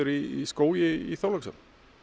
í skógi í Þorlákshöfn